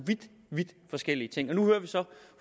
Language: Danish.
vidt forskellige ting nu hører vi så